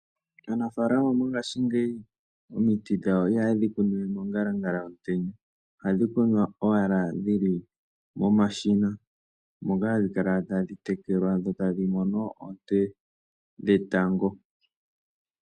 Anafalama mongashingeyi omiti dhawo iha yedhi kunu we mongalangala yomutenya. Ohadhi kunwa ashike dhili momashina, moka hadhi kala tadhi tekelwadho tadhi mono oonte dhetango.